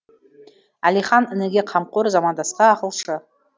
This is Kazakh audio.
әлихан ініге қамқор замандасқа ақылшы